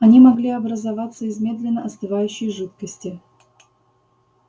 они могли образоваться из медленно остывающей жидкости